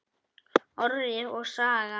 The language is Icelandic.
Orri og Saga.